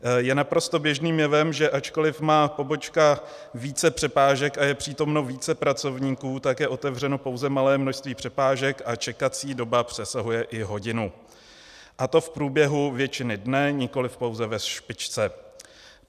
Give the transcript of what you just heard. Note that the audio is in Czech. Je naprosto běžným jevem, že ačkoliv má pobočka více přepážek a je přítomno více pracovníků, tak je otevřeno pouze malé množství přepážek a čekací doba přesahuje i hodinu, a to v průběhu většiny dne, nikoliv pouze ve špičce.